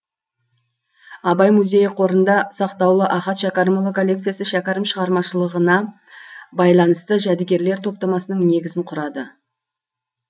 абай музейі қорында сақтаулы ахат шәкәрімұлы коллекциясы шәкәрім шығармашылығына байланысты жәдігерлер топтамасының негізін құрады